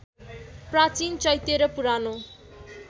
प्राचीन चैत्य र पुरानो